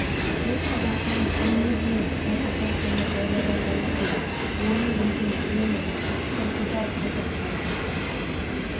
бұл салдақының өне бойын кәпірдің қаны жайлап алған екен оны өзім білемін иттің қызы-ау қазақ болмаса